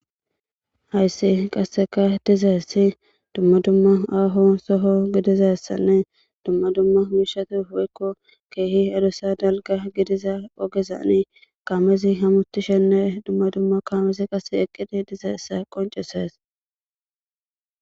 hayssi qasseka dizaessi dumma dumma aaho soho gidizassanne dumma dumma miishatu woykko keehi adussa dalga gidiza ogezani kaamezi hamutishenne dumma dumma kaamesi qass eqqidi dizaysa qonceses